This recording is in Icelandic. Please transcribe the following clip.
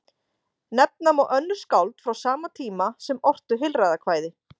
Nefna má önnur skáld frá sama tíma sem ortu heilræðakvæði.